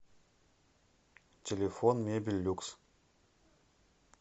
телефон мебель люкс